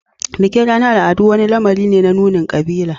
Bikin ranar al'adu wani lamari ne na nunin kabilanci.